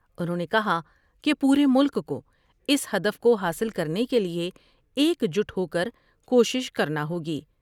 انہوں نے کہا کہ پورے ملک کو اس ہدف کو حاصل کرنے کے لئے ایک جٹ ہوکر کوشش کرنا ہوگی ۔